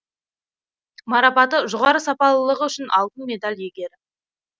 марапаты жоғары сапалылығы үшін алтын медаль иегері